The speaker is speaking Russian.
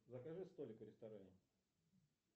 закажи столик в ресторане